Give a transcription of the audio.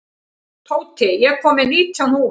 Tóti, ég kom með nítján húfur!